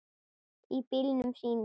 Í bílunum sínum.